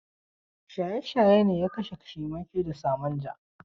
Shaye-shaye ne ya kashe Ciwake da Samanja.